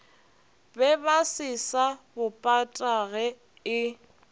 bebase sa bo patage e